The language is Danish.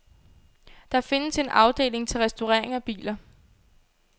Der findes en afdeling til restaurering af biler.